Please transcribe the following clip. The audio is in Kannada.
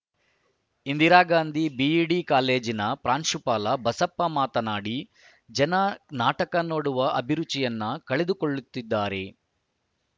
ಇಂದಿರಾಗಾಂಧಿ ಬಿಇಡಿ ಕಾಲೇಜಿನ ಪ್ರಾಂಶುಪಾಲ ಬಸಪ್ಪ ಮಾತನಾಡಿ ಜನ ನಾಟಕ ನೋಡುವ ಅಭಿರುಚಿಯನ್ನು ಕಳೆದುಕೊಳ್ಳುತ್ತಿದ್ದಾರೆ